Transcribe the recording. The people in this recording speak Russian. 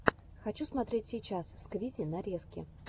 хочу смотреть сейчас сквизи нарезки